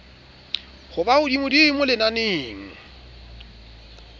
ho ba ka hodimodimo lenaneng